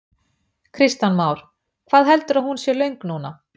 Kristján Már: Hvað heldurðu að hún sé löng núna?